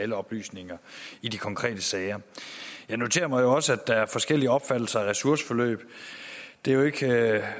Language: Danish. alle oplysninger i de konkrete sager jeg noterer mig også at der er forskellige opfattelser af ressourceforløb det er jo ikke